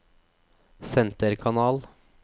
senterkanal